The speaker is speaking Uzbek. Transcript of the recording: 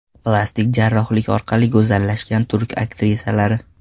Plastik jarrohlik orqali go‘zallashgan turk aktrisalari .